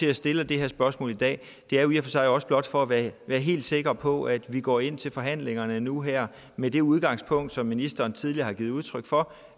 jeg stiller det her spørgsmål i dag er jo i og for sig også blot for at være helt sikker på at vi går ind til forhandlingerne nu her med det udgangspunkt som ministeren tidligere har givet udtryk for